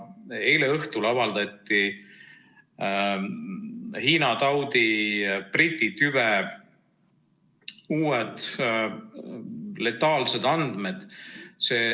Eile õhtul avaldati Hiina taudi Briti tüve uued letaalsed andmed.